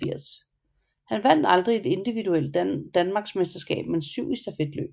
Han vandt aldrig et individuelt Danmarks mesterskab men syv i stafetløb